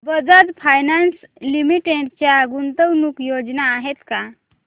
Bajaj finance limited च्या गुंतवणूक योजना आहेत का